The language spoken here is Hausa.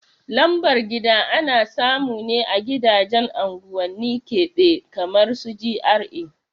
Lambar gida ana samune a gidajen unguwanni keɓe kamar su GRA